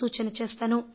సూచన చేస్తాను